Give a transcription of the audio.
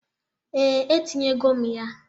Ee, e tinyego m ya.